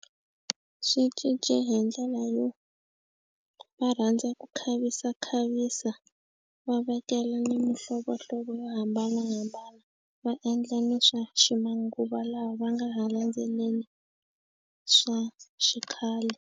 Swi cince hi ndlela yo va rhandza ku khavisa khavisa va vekela ni mihlovohlovo yo hambanahambana va endla ni swa ximanguva lawa va nga ha landzeleli swa xikhale.